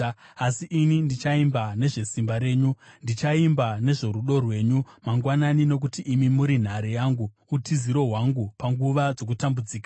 Asi ini ndichaimba nezvesimba renyu, ndichaimba nezvorudo rwenyu mangwanani; nokuti imi muri nhare yangu, utiziro hwangu panguva dzokutambudzika.